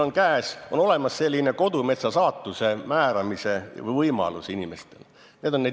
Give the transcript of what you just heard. Inimestel on võimalus määrata oma kodumetsa saatus.